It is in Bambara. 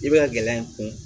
I bɛ ka gɛlɛya in kun